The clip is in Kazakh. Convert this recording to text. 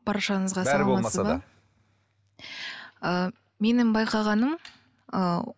баршаңызға ы менің байқағаным ы